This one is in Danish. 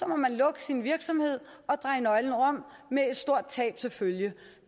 må man lukke sin virksomhed og dreje nøglen om med et stort tab til følge